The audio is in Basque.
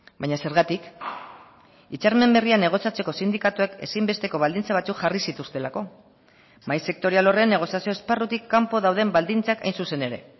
baina zergatik hitzarmen berrian negoziatzeko sindikatuek ezinbesteko baldintza batzuk jarri zituztelako mahai sektorial horren negoziazio esparrutik kanpo dauden baldintzak hain zuzen ere